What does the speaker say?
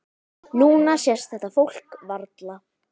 Núna sést þetta fólk varla.